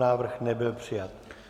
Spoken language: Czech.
Návrh nebyl přijat.